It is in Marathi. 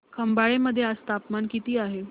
खंबाळे मध्ये आज तापमान किती आहे